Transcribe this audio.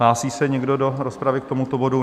Hlásí se někdo do rozpravy k tomuto bodu?